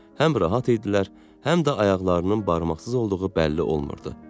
Həm rahat idilər, həm də ayaqlarının barmaqsız olduğu bəlli olmurdu.